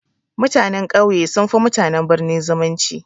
Mutanen ƙauye sun fi mutanen birni zumunci.